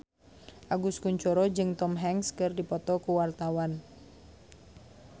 Agus Kuncoro jeung Tom Hanks keur dipoto ku wartawan